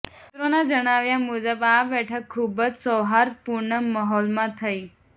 સૂત્રોના જણાવ્યાં મુજબ આ બેઠક ખુબ જ સૌહાર્દપૂર્ણ માહોલમાં થઈ